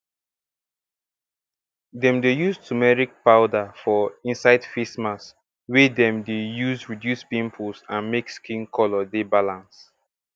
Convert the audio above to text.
dem dey use turmeric powder um inside face mask wey dem dey use reduce pimples and make skin color dey balance